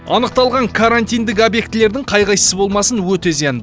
анықталған карантиндік объектілердің қай қайсысы болмасын өте зиян